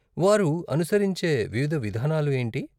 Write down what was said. వారు అనుసరించే వివిధ విధానాలు ఏంటి?